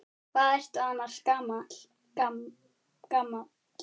Hvað ertu annars gamall?